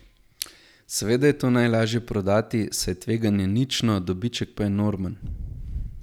Seveda je to najlažje prodati, saj je tveganje nično, dobiček pa enormen.